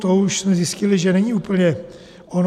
To už jsme zjistili, že není úplně ono.